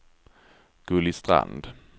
Gulli Strand